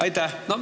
Aitäh!